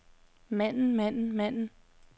manden manden manden